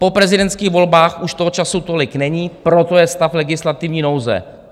Po prezidentských volbách už toho času tolik není, proto je stav legislativní nouze.